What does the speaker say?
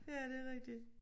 Ja det er rigtigt